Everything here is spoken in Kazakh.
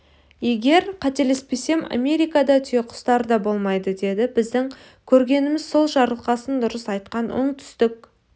егер қателеспесем америкада түйеқұстар да болмайды деді біздің көргеніміз сол жарылқасын дұрыс айтқан оңтүстік